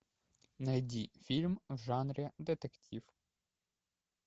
найди фильм в жанре детектив